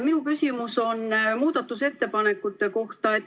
Minu küsimus on muudatusettepanekute kohta.